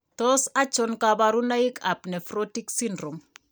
Tos achon kabarunaik ab Nephrotic syndrome ?